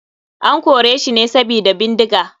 An koreshi ne sabida bindiga.